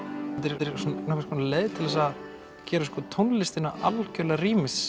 þetta er nokkurs konar leið til að gera tónlistina algerlega